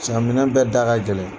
minɛn bɛɛ da ka gɛlɛn.